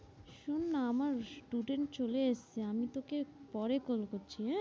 শোন্ না আমার student চলে এসেছে, আমি তোকে পরে call করছি আঁ,